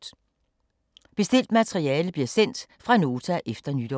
Bestilt materiale bliver sendt fra Nota efter nytår.